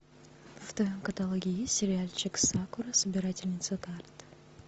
в твоем каталоге есть сериальчик сакура собирательница карт